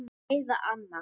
Heiða amma.